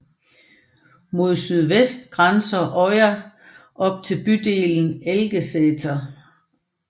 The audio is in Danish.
Mod sydøst grænser Øya op til bydelen Elgeseter